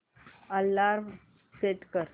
alarm set कर